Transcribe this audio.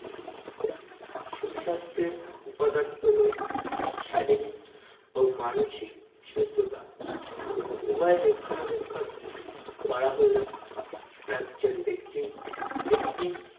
সুস্বাস্থ্যের উপাদান হলো শারীরিক ও মানসিক সুস্থতা উভয়ের রক্ষণাবেক্ষণ করা হলে একজন ব্যক্তির একটি